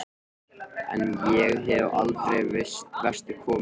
En ég hef aldrei vestur komið.